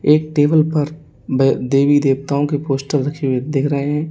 एक टेबल पर देवी देवताओं के पोस्टर रखे हुए देख रहे हैं।